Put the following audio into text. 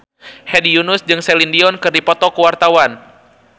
Hedi Yunus jeung Celine Dion keur dipoto ku wartawan